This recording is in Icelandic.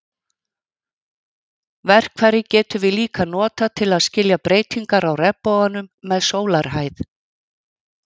Verkfærið getum við líka notað til að skilja breytingar á regnboganum með sólarhæð.